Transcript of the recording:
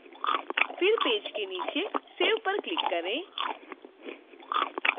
फिर पेज के नीचे save पर क्लिक करें